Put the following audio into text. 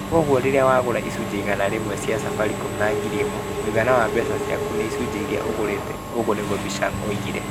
Koguo rĩrĩa wagũra icunjĩ igana rĩmwe cia Safaricom na ngiri ĩmwe , mũigana wa mbeca ciaku nĩ Icunjĩ iria ũgũrĩte". Oguo niguo Bichiang'a oigire.